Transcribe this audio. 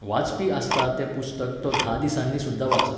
वाचपी आसता तें पुस्तक तो धा दिसांनीं सुद्दा वाचत.